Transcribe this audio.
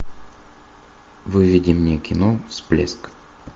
выведи мне кино всплеск